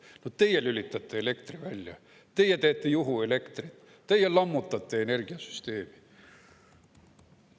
Vot teie lülitate elektri välja, teie teete juhuelektrit, teie lammutate energiasüsteemi.